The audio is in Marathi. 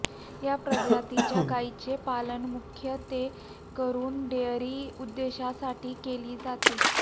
या प्रजातीच्या गाईचे पालन मुख्यत्वेकरून डेअरी उद्देशासाठी केली जाते